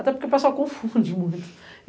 Até porque o pessoal confunde muito